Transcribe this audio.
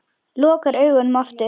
Lokar augunum aftur.